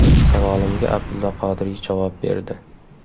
Savolimga Abdulla Qodiriy javob berdi.